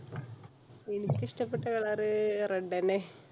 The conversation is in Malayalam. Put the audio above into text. എനിക്ക് ഇഷ്ടപെട്ട color~ red അന്നെ.